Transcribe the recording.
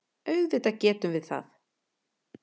Auðvitað getum við það.